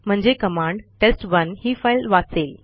म्हणजे command test one ही file वाचेल